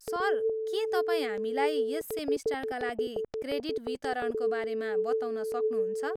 Sir, के तपाईँ हामीलाई यस सेमेस्टरका लागि क्रेडिट वितरणको बारेमा बताउन सक्नुहुन्छ?